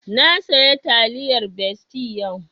Na saya taliyar besti yau